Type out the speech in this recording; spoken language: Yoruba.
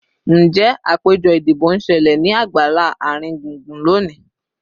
Njẹ apejọ idibo n ṣẹlẹ ni agbala aringbungbun loni?